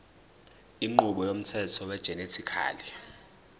inqubo yomthetho wegenetically